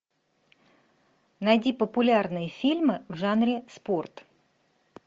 найди популярные фильмы в жанре спорт